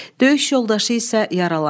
Döyüş yoldaşı isə yaralanır.